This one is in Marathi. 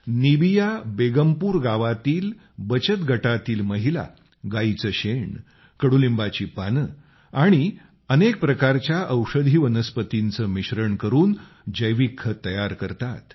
निबिया बेगमपूर गावातील बचत गटांतील महिला गायीचे शेण कडुलिंबाची पाने आणि अनेक प्रकारच्या औषधी वनस्पतींचे मिश्रण करून जैविक खत तयार करतात